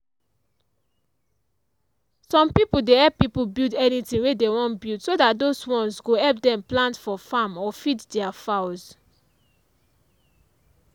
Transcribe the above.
some people dey help people build anything wey they wan build so that those ones go help them plant foe farm or feed their fowls.